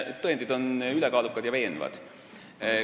Tõendid on ülekaalukad ja veenvad.